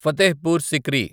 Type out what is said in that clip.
Fatehpur Sikri